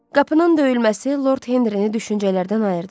Qapının döyülməsi Lord Henri-ni düşüncələrdən ayırdı.